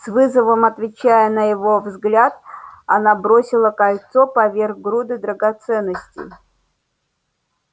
с вызовом отвечая на его взгляд она бросила кольцо поверх груды драгоценностей